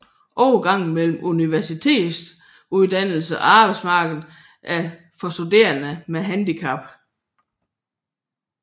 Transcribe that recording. Overgangen mellem universitetsuddannelse og arbejdsmarked for studerende med handicap